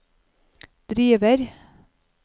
driver